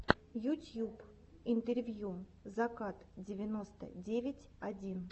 ютюб интервью закат девяносто девять один